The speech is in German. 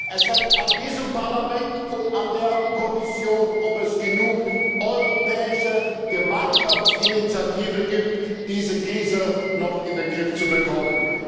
Es hängt an diesem Parlament und an der Kommission, ob es genug europäische Gemeinschaftsinitiative gibt, diese Krise noch in den Griff zu bekommen.